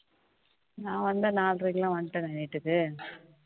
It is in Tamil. நான் வந்து நாலரைக்குக்குலாம் வந்துட்டேன் வீடுக்கு